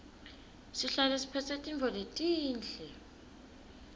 sihlale siphetse tintfo letinhle